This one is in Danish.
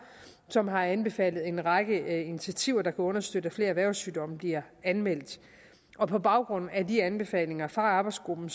som har anbefalet en række initiativer der kunne understøtte at flere erhvervssygdomme bliver anmeldt og på baggrund af de anbefalinger fra arbejdsgruppen